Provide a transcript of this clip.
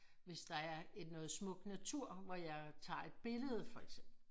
Hvis der er noget smuk natur hvor jeg tager et billede for eksempel